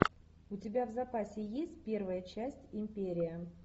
у тебя в запасе есть первая часть империя